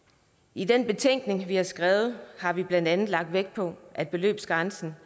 i den betænkning vi har skrevet har vi blandt andet lagt vægt på at beløbsgrænsen